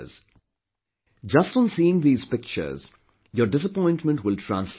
Just on seeing these pictures, your disappointment will transform into hope